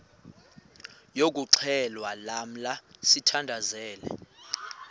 yokuxhelwa lamla sithandazel